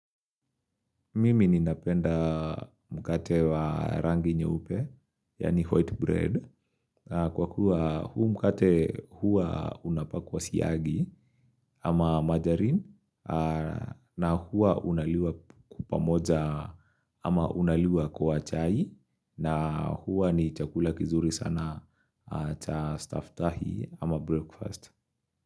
Mimi ninapenda mkate wa rangi nye upe, yani white bread. Kwa kuwa huu mkate hua unapakwa siyagi ama margarine na hua unaliwa pamoja ama unaliwa kwa chai na hua ni chakula kizuri sana cha staftahi ama breakfast.